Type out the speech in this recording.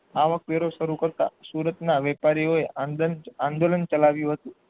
આવક વેરો શરુ કરતા સુરતના વેપારી ઓયે આંગન આંદોલન ચલાવ્યું હતું